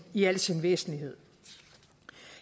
i al sin væsentlighed